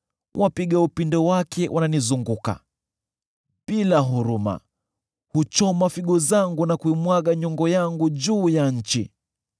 wapiga upinde wake wananizunguka. Bila huruma, huchoma figo zangu, na kuimwaga nyongo yangu juu ya nchi.